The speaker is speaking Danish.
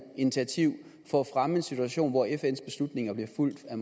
initiativ for at fremme en situation hvor fns beslutninger bliver fulgt af